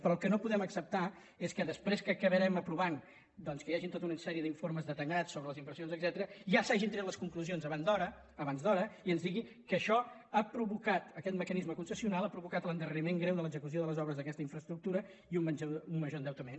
però el que no podem acceptar és que després que acabarem aprovant doncs que hi hagi tota una sèrie d’informes detallats sobre les inversions etcètera ja s’hagin tret les conclusions abans d’hora i que ens digui que això ha provocat aquest mecanisme concessional l’ha provocat l’endarreriment greu de l’execució de les obres d’aquesta infraestructura i un major endeutament